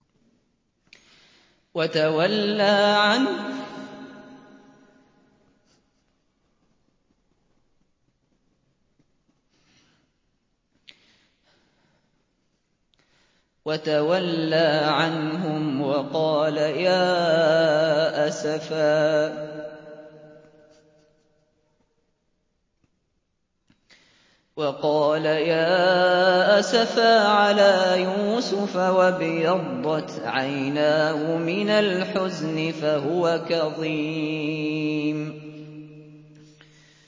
وَتَوَلَّىٰ عَنْهُمْ وَقَالَ يَا أَسَفَىٰ عَلَىٰ يُوسُفَ وَابْيَضَّتْ عَيْنَاهُ مِنَ الْحُزْنِ فَهُوَ كَظِيمٌ